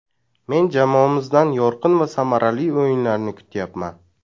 Men jamoamizdan yorqin va samarali o‘yinlarni kutyapman.